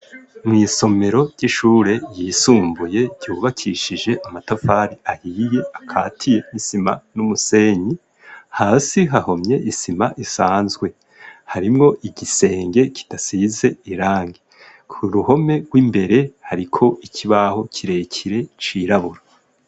Mwisomero ry'ishure yisumbuye ryubakishije amatafari ahiye, akatiye n'isima n'umusenyi, hasi hahomye isima idanzwe. Harimwo igisenge kidasize irangi . Ku ruhome rw'imbere hariko ikibaho kirekire cirabura.